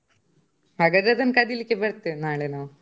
ಹಾಗಾದ್ರೆ ಅದನ್ನು ಕದಿಲಿಕ್ಕೆ ಬರ್ತೇವೆ ನಾಳೆ ನಾವು.